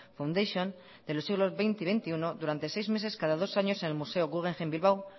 fundation en los siglos veinte y veintiuno durante seis meses cada dos años en el museo guggenheim bilbao